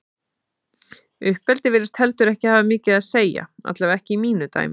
Uppeldi virðist heldur ekki hafa mikið að segja, allavega ekki í mínu dæmi.